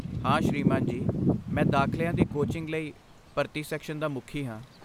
ਹਾਂ ਸ੍ਰੀਮਾਨ ਜੀ, ਮੈਂ ਦਾਖ਼ਲਿਆਂ ਦੀ ਕੋਚਿੰਗ ਲਈ ਭਰਤੀ ਸੈਕਸ਼ਨ ਦਾ ਮੁਖੀ ਹਾਂ।